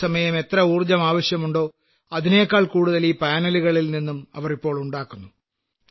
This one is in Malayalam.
പകൽസമയം എത്ര ഊർജ്ജം ആവശ്യമുണ്ടോ അതിനെക്കാൾ കൂടുതൽ ഈ പാനലുകളിൽ നിന്നും അവർ ഇപ്പോൾ ഉണ്ടാക്കുന്നു